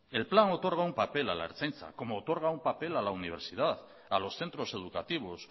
el plan otorga un papel a la ertzaintza como otorga un papel a la universidad a los centros educativos